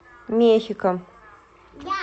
мехико